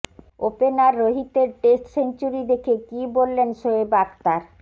opener রোহিতের test century দেখে কী বললেন শোয়েব আখতার